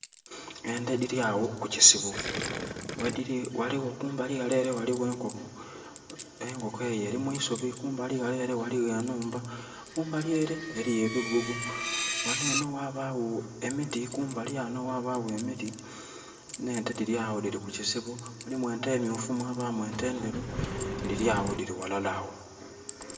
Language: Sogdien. Ente dhiryagho ku kisibo. Wediri waliwo kumbali walere waliwo enkoko. Enkoko eyo eri mwisubi. Kumbali walere waliwo enhumba. Kumbali ere waliyo ebigogo. Wano eno wabawo emiti n' ente diryawo diri ku kisibo. Mulimu ente myufu n' ente nderu, diryawo diri walala awo